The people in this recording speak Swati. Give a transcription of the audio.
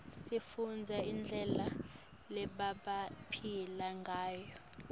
sifundza ngendlela lebebaphila ngayo